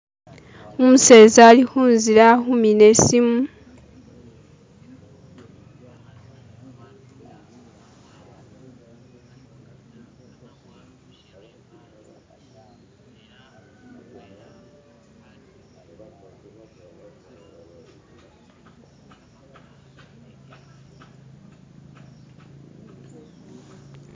umuseza ali hunzila ali humina isimu